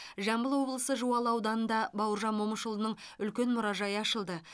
жамбыл облысы жуалы ауданында бауыржан момышұлының үлкен мұражайы ашылды